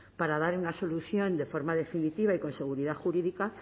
para dar una solución de forma definitiva y con seguridad jurídica